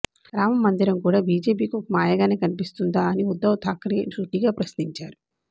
రామమందిరం కూడా బీజేపీకి ఒక మాయగానే కనిపిస్తుందా అని ఉద్దవ్ థాక్రే సూటిగా ప్రశ్నించారు